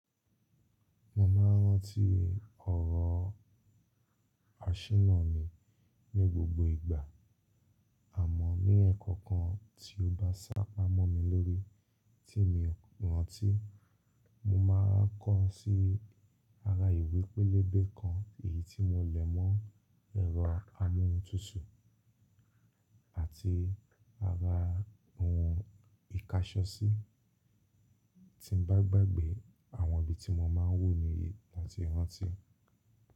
Mo máa ń rántí ọ̀rọ̀ àṣènà mi ní gbogbo ìgbà, àmọ́ ní ẹ̀ẹ̀kan kan tí ó bá sápamọ́ mi lórí tí n mi rántí, mo máa ń kọ̀ ọ́ sí ara ìwé pélébé kan, èyí tí mo lẹ̀ mọ́ ẹ̀rọ amóhùntutù àti ara ohun ìkáṣọsí. Tí n bá gbàgbé, àwọn ibi tí mo máa ń wù ní yìí ni a ti rántí.